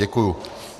Děkuji.